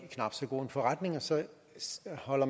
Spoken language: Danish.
sig selv og